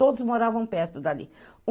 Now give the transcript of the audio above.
Todos moravam perto dali.